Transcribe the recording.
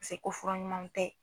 Paseke fura ɲumanw tɛ.